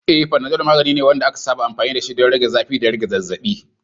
Eh, Panadol magani ne wanda aka saba amfani dashi don rage zafi da rage zazzabi.